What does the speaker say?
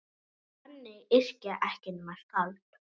Þannig yrkja ekki nema skáld!